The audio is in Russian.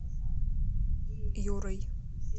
юрой